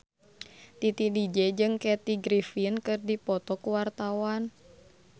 Titi DJ jeung Kathy Griffin keur dipoto ku wartawan